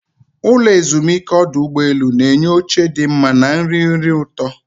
Ụlọ ezumike ọdụ ụgbọ elu na-enye oche dị mma na nri nri ụtọ.